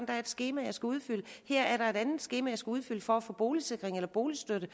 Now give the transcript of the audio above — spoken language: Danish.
er et skema jeg skal udfylde her er der et andet skema jeg skal udfylde for at få boligsikring eller boligstøtte